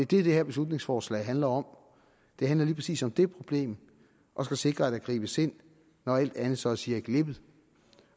det her beslutningsforslag handler om det handler lige præcis om det problem og skal sikre at der gribes ind når alt andet så at sige er glippet